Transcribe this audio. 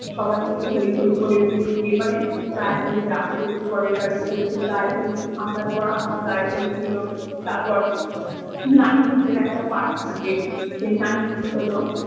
সবাই মিলে হই হই করে উলু দিয়ে মানে গায়ে হলুদ এসেছে বরের বাড়ি থেকে সেই গায়ে হলুদ আসার পর আমার গায়ে হলুদ এলো তারপর নানিমুখের একটা পাঠ থাকে সেই নানিমুখ হলো।